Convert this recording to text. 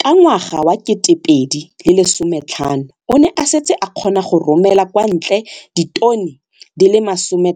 Ka ngwaga wa 2015, o ne a setse a kgona go romela kwa ntle ditone di le 31